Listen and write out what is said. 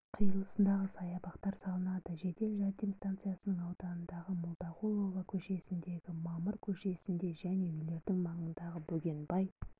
қиылысында саябақтар салынады жедел жәрдем станциясының ауданындағы молдағұлова көшесіндегі мамыр көшесінде және үйлердің маңындағы бөгенбай